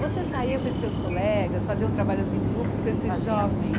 Você saía com esses seus colegas, faziam trabalhos em grupos com esses jovens? Fazíamos